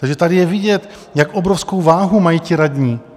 Takže tady je vidět, jak obrovskou váhu mají ti radní.